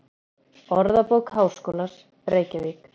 Orðabók Háskólans, Reykjavík.